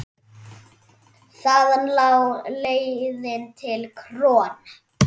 Þaðan lá leiðin til KRON.